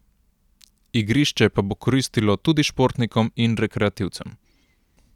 Igrišče pa bo koristilo tudi športnikom in rekreativcem.